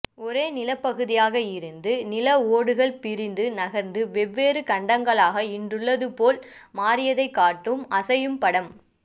ஒரே நிலப்பகுதியாக இருந்து நில ஓடுகள் பிரிந்து நகர்ந்து வெவ்வேறு கண்டங்களாக இன்றுள்ளது போல் மாறியதைக் காட்டும் அசையும் படம்